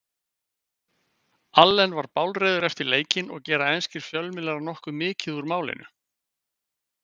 Allen var bálreiður eftir leikinn og gera enskir fjölmiðlar nokkuð mikið úr málinu.